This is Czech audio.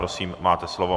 Prosím, máte slovo.